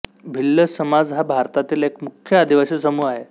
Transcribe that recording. भिल्ल समाज हा भारतातील एक मुख्य आदिवासी समूह आहे